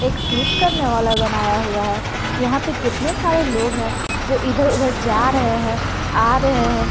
एक स्लिप करने वाला बनाया हुआ है यहां पे कितने सारे लोग हैं जो इधर उधर जा रहे हैं आ रहे हैं।